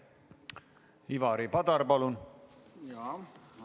Ivari Padar, palun!